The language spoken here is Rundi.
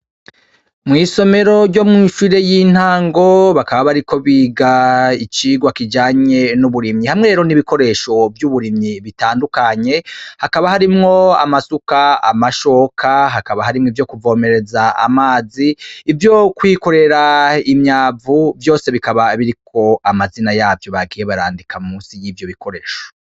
Mw'isomero ryo mw'ishure y'intango, bakaba bariko biga icigwa kijanye n'uburimyi hamwe rero n’ibikoresho vy'uburimyi bitandukanye, hakaba harimwo amasuka, amashoka, hakaba harimwo ivyo kuvomereza amazi ivyo kwikorera imyavu vyose bikaba biriko amazina yavyo bagiye barandika munsi y'ivyo bikoresho.